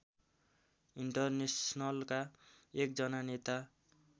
इन्टरनेसनलका एकजना नेता